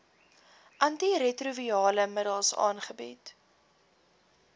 antiretrovirale middels aangebied